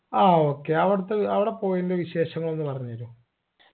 ആ okay അവിടുത്തെ അവിടെ പോയെൻറെ വിശേഷങ്ങൾ ഒന്ന് പറഞ്ഞെരുവോ